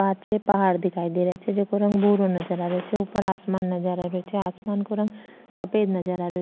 पाछे पहाड़ दिखाई दे रा छे जेको रंग भूरो नजर आ रो छे ऊपर आसमान नजर आ रो छे आसमान को रंग सफ़ेद नजर आ रो --